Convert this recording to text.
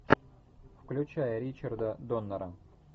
включай ричарда доннера